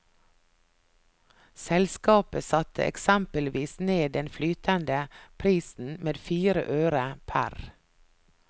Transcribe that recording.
Selskapet satte eksempelvis ned den flytende prisen med fire øre pr.